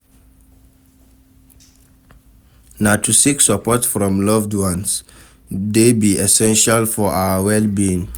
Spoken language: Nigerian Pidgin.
Na to seek support from loved ones dey be essential for our well-being.